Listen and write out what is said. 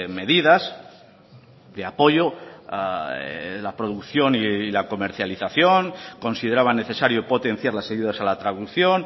medidas de apoyo a la producción y la comercialización consideraba necesario potenciar las ayudas a la traducción